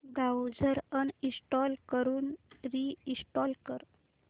browser uninstall करून reinstall कर